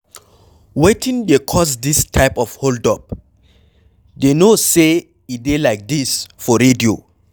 Wetin dey cause dis type of hold up. Dey no say e dey like dis for radio.